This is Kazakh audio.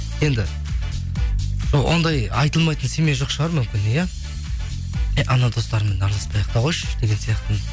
енді ондай айтылмайтын семья жоқ шығар мүмкін иә эй анау достарыңмен араласпай ақ та қойшы деген сияқты